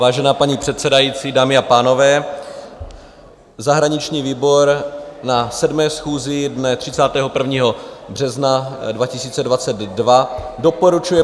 Vážená paní předsedající, dámy a pánové, zahraniční výbor na 7. schůzi dne 31. března 2022 doporučuje